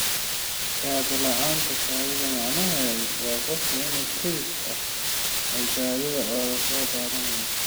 Kaadi-la'aanta kaadida macnaheedu waa qofku si kedis ah ayuu kaadida uga soo daadanayaa.